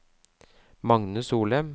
Magne Solem